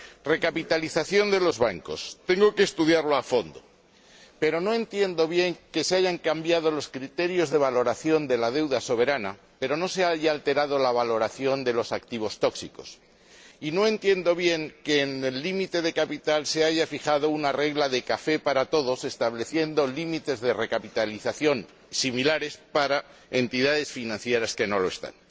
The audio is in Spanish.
Recapitalización de los bancos tengo que estudiarlo a fondo, pero no entiendo bien que se hayan cambiado los criterios de valoración de la deuda soberana, pero no se haya alterado la valoración de los activos tóxicos, y no entiendo bien que en el límite de capital se haya fijado una regla de café para todos, estableciendo límites de recapitalización similares para entidades financieras que no lo son.